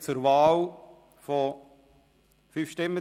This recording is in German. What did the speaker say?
Christoph Ammann mit 155 Stimmen